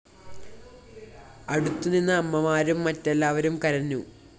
അടുത്തുനിന്ന അമ്മമാരും മറ്റെല്ലാവരും കരഞ്ഞു